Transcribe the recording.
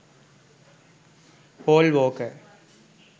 paul walker